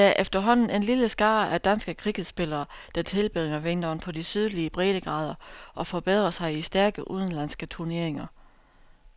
Der er efterhånden en lille skare af danske cricketspillere, der tilbringer vinteren på de sydlige breddegrader og forbedrer sig i stærke udenlandske turneringer.